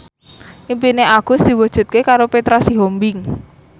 impine Agus diwujudke karo Petra Sihombing